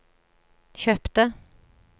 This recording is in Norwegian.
kjøpte